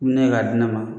Ne ye k'a di ne ma